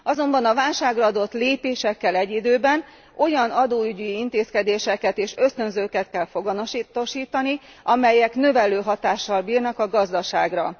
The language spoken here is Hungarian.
Azonban a válságra adott lépésekkel egy időben olyan adóügyi intézkedéseket és ösztönzőket kell foganatosítani, amelyek növelő hatással bírnak a gazdaságra.